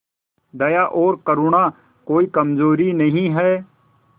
दया और करुणा कोई कमजोरी नहीं है